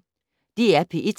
DR P1